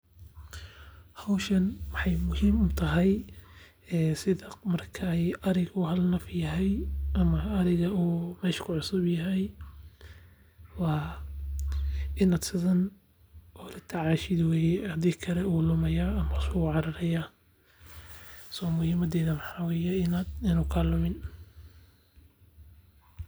Hoshan waxay muhim utahay sidha marka ariga hal naf yahay, ama ariga mesha uku cusubyahay wa inaad sidhan ola tacashid weye hadi kale wuu lumayah mise wuca rarayah, soo muhimadeda waxa weye inu kalumin.